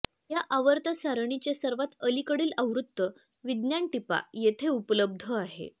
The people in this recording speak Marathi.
या आवर्त सारणीचे सर्वात अलीकडील आवृत्त विज्ञान टिपा येथे उपलब्ध आहेत